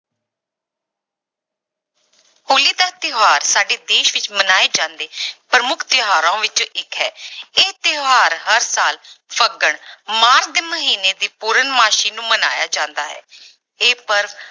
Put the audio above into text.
ਹੋਲੀ ਦਾ ਤਿਉਹਾਰ ਸਾਡੇ ਦੇਸ ਵਿੱਚ ਮਨਾਏ ਜਾਂਦੇ ਪ੍ਰਮੁੱਖ ਤਿਉਹਾਰਾਂ ਵਿੱਚੋਂ ਇੱਕ ਹੈ ਇਹ ਤਿਉਹਾਰ ਹਰ ਸਾਲ ਫੱਗਣ ਮਾਘ ਦੇ ਮਹੀਨੇ ਦੀ ਪੂਰਨਮਾਸੀ ਨੂੰ ਮਨਾਇਆ ਜਾਂਦਾ ਹੈ ਇਹ ਪਰਵ